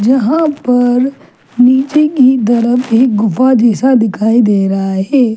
यहाँ पर निचे की तरफ एक गुफा जैसा दिखाई दे रहा है।